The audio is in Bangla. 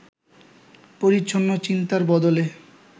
পরিচ্ছন্ন চিন্তার বদলে